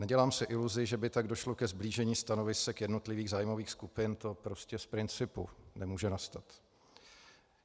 Nedělám si iluzi, že by tak došlo ke sblížení stanovisek jednotlivých zájmových skupin, to prostě z principu nemůže nastat.